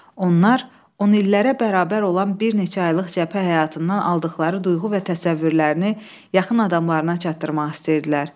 Onlar on illərə bərabər olan bir neçə aylıq cəbhə həyatından aldıqları duyğu və təsəvvürlərini yaxın adamlarına çatdırmaq istəyirdilər.